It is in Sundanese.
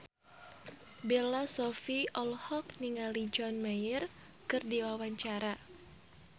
Bella Shofie olohok ningali John Mayer keur diwawancara